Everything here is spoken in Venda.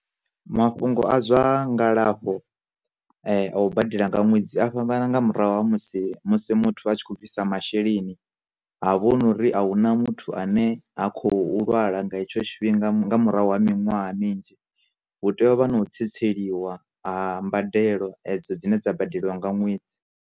Mafhungo a zwa ngalafho a u badela nga ṅwedzi a fhambana nga murahu ha musi musi muthu a tshi khou bvisa masheleni ha vho nori a huna muthu muthu ane ha khou lwala nga hetsho tshifhinga nga murahu ha miṅwaha minzhi hu tea u vha na u tsweliwa ha mbadelo edzo dzine dza badeliwa nga ṅwedzi